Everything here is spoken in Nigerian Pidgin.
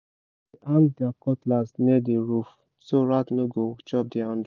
dem dey hang their cutlass near the roof so rat no go chop the handle